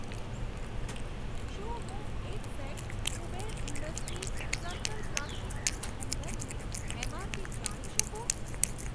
શું હું એક set Kuber Industries circle plastic ring હેંગરની એમઆરપી જાણી શકું?